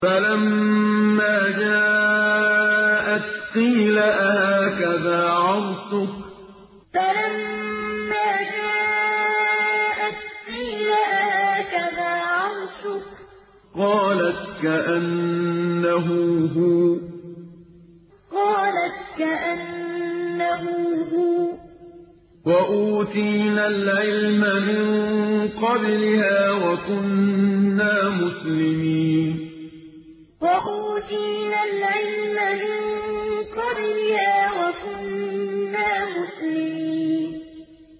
فَلَمَّا جَاءَتْ قِيلَ أَهَٰكَذَا عَرْشُكِ ۖ قَالَتْ كَأَنَّهُ هُوَ ۚ وَأُوتِينَا الْعِلْمَ مِن قَبْلِهَا وَكُنَّا مُسْلِمِينَ فَلَمَّا جَاءَتْ قِيلَ أَهَٰكَذَا عَرْشُكِ ۖ قَالَتْ كَأَنَّهُ هُوَ ۚ وَأُوتِينَا الْعِلْمَ مِن قَبْلِهَا وَكُنَّا مُسْلِمِينَ